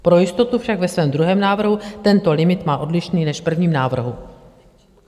Pro jistotu však ve svém druhém návrhu tento limit má odlišný než v prvním návrhu.